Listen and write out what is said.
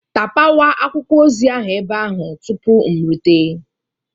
Tapawa akwụkwọ ozi ahụ ebe ahụ tupu m erute!.